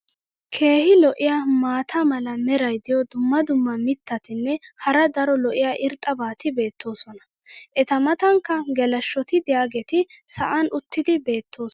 keehi lo'iya maata mala meray diyo dumma dumma mitatinne hara daro lo'iya irxxabati beetoosona. eta matankka geleshshoti diyaageeti sa"an uttidi beetoosona.